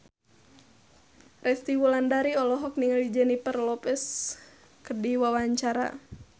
Resty Wulandari olohok ningali Jennifer Lopez keur diwawancara